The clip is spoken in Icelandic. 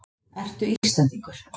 Ertu Íslendingur?